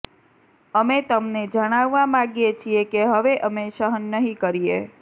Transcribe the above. અમે તમને જણાવવા માગીએ છીએ કે હવે અમે સહન નહીં કરીએ